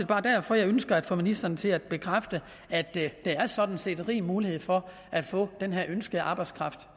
bare derfor jeg ønsker at få ministeren til at bekræfte at der der sådan set er rig mulighed for at få den her ønskede arbejdskraft